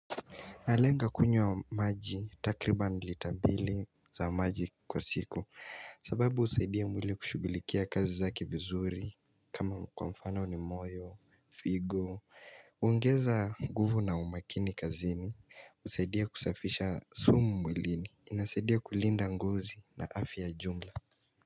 Nalenga kunywa maji takribani lita mbili za maji kwa siku sababu husaidia mwili kushughulikia kazi zake vizuri kama kwa mfano ni moyo, figo uongeza nguvu na umakini kazini husaidia kusafisha sumu mwilini inasaidia kulinda ngozi na afya ya jumla.